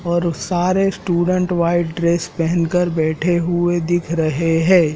और सारे student white dress पेहन कर बैठे हुए दिख रहे हैं।